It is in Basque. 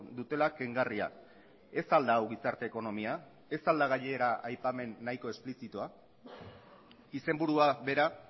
dutela kengarria ez al da hau gizarte ekonomia ez al da gainera aipamen nahiko esplizitua izenburua bera